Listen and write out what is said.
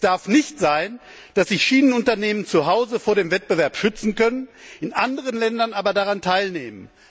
Es darf nicht sein, dass man Schienenunternehmen zuhause vor dem Wettbewerb schützen kann, in anderen Ländern aber daran teilnimmt.